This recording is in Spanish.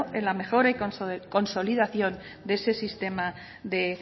en la mejora y consolidación de ese sistema de